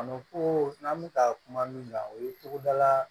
A m koo n'an bɛ ka kuma min kan o ye togodala